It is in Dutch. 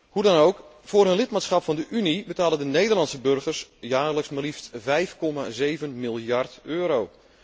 Hoe dan ook, voor hun lidmaatschap van de Unie betalen de Nederlandse burgers jaarlijks maar liefst 5,7 miljard euro.